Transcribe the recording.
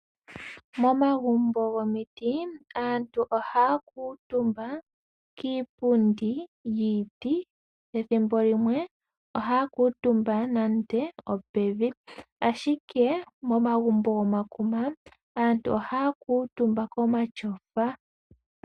Momagumbo gomiti, aantu ohaya kuuntumba kiipundi yiiti, ethimbo limwe ohaya kuuntumba nande opevi. Ashike momagumbo gomakuma, aantu ohaya kuuntumba komatyofa.